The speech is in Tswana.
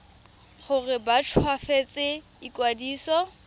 gore ba nt hwafatse ikwadiso